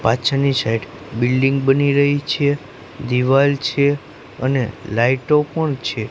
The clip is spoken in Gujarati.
પાછળની સાઇડ બિલ્ડીંગ બની રહી છે દિવાલ છે અને લાઈટો પણ છે.